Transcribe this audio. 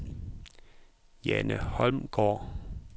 Jane Holmgaard